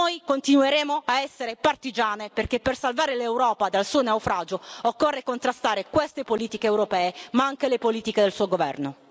Noi continueremo a essere partigiane, perché per salvare l'Europa dal suo naufragio occorre contrastare queste politiche europee, ma anche le politiche del Suo Governo.